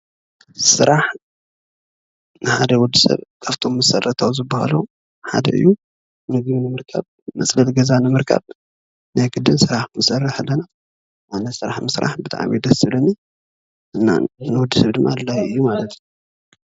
ስራሕ ንሓደ ወድሰብ ካብቶም መሰረታዊ ዝበሃሉ ሓደ እዩ:: ምግቢ ንምርካብ፣ መፅለሊ ገዛ ንምርካብ ናይ ግድን ስራሕ ክነሰርሕ ኣለና። ኣነ ስራሕ ምስራሕ ብጣዕሚ እዩ ደስ ዝብለኒ። እና ንወድሰብ ድማ ኣድላዪ እዩ ማለት እዩ።